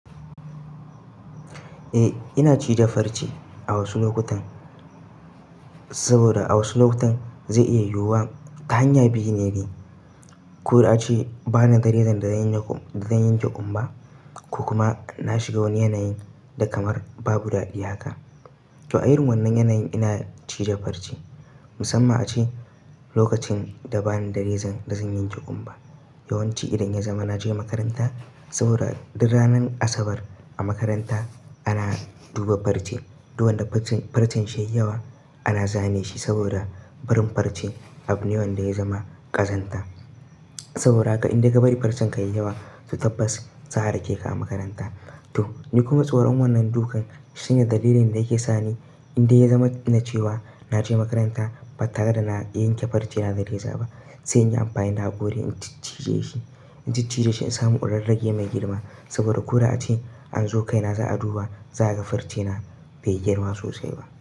Eh ina cije farce a wasu lokutan, saboda a wasu lokutan zai iya yiwuwa ta hanya biyu ne ni. Ko a ce ba ni da rezan da zan yanke kumba, ko kuma na shiga wani yanayin da kamar babu daɗi haka. To a yin wannan yanayin ina cije farce musamman a ce lokacin da ba ni da rezan da zan yanke kumba. Yawan ci idan ya zama na je makaranta saboda duk ranar Asabar a makaranta ana duba farce. Duk wanda farcen shi ya yi yawa ana zane shi saboda barin farce abu ne wanda ya zama ƙazanta. Saboda haka in dai ka bari farcen ka yayi yawa to tabbas za a rake ka a makaranta. To ni kuma tsoron wannan dukan shine dalilin da yake sa ni in dai ya zama na ce wa na je makaranta ba tare da na iya yanke farce na dare za ba, sai in yi amfani da haƙori in ciccije shi. In cije shi in samu in rarrage mai girma saboda ko da a ce an zo kaina za a duba za a ga farce na bai girma sosai ba.